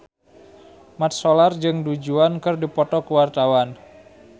Mat Solar jeung Du Juan keur dipoto ku wartawan